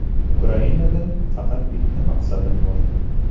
Ukrainada faqat bitta maqsadim bor.